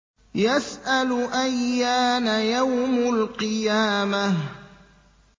يَسْأَلُ أَيَّانَ يَوْمُ الْقِيَامَةِ